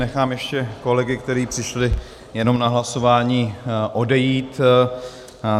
Nechám ještě kolegy, kteří přišli jenom na hlasování, odejít.